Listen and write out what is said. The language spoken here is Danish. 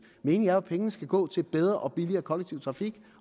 meningen er jo at pengene skal gå til bedre og billigere kollektiv trafik